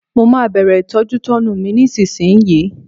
Mo máa bẹ̀rẹ̀ ìtọ́jútọ́nu mi nísinsìnyí